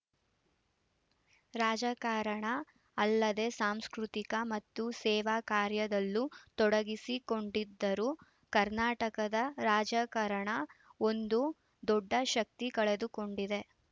ರಾಜಕಾರಣ ಅಲ್ಲದೆ ಸಾಂಸ್ಕೃತಿಕ ಮತ್ತು ಸೇವಾ ಕಾರ್ಯದಲ್ಲೂ ತೊಡಗಿಸಿಕೊಂಡಿದ್ದರು ಕರ್ನಾಟಕದ ರಾಜಕಾರಣ ಒಂದು ದೊಡ್ಡ ಶಕ್ತಿ ಕಳೆದುಕೊಂಡಿದೆ